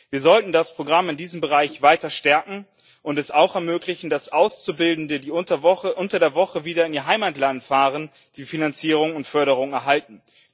Wir sollten das Programm in diesem Bereich weiter stärken und es auch ermöglichen, dass Auszubildende, die unter der Woche wieder in ihr Heimatland fahren, die Finanzierung und Förderung erhalten.